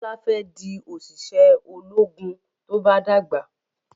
Bola fè di oṣiṣẹ ológun tó bá dàgbà